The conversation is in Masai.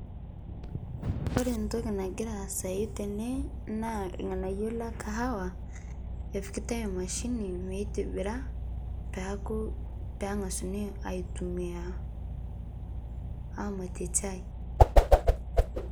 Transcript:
Kore ntoki nagira aisayu tene naa lng'anaiyo le kawaha epikitai emashinii meitibiraa pee aaku pee ng'ashuni aitumia amatiee chai.